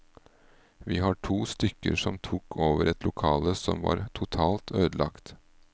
Vi var to stykker som tok over et lokale som var totalt ødelagt.